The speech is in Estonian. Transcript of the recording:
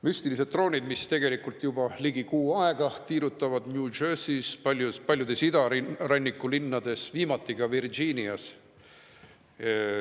Müstilised droonid, mis tegelikult juba ligi kuu aega on tiirutanud New Jerseys, paljudes idaranniku linnades, viimati ka Virginias.